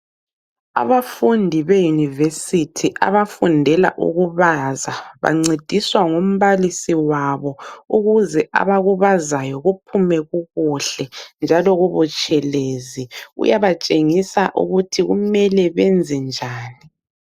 Abafundi beyunivesithi abafundela ukubaza bancediswa ngumbalisi wabo ukuze abakubazayo kuphume kukuhle njalo kubutshelezi, uyabatshengisa ukuthi kumele benze njani.